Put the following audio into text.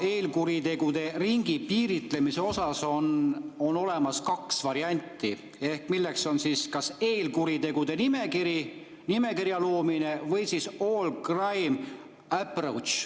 Eelkuritegude ringi piiritlemisel on olemas kaks varianti, milleks on kas eelkuritegude nimekirja loomine või all crimes approach.